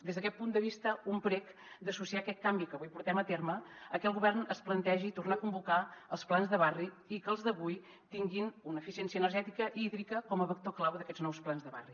des d’aquest punt de vista un prec d’associar aquest canvi que avui portem a terme a que el govern es plantegi tornar a convocar els plans de barri i que els d’avui tinguin una eficiència energètica i hídrica com a vector clau d’aquests nous plans de barri